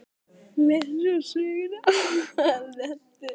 Lesið úr sögunni Aðventu.